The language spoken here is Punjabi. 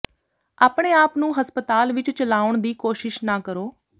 ਆਪਣੇ ਆਪ ਨੂੰ ਹਸਪਤਾਲ ਵਿੱਚ ਚਲਾਉਣ ਦੀ ਕੋਸ਼ਿਸ਼ ਨਾ ਕਰੋ